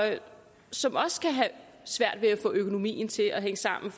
som også kan have svært ved at få økonomien til at hænge sammen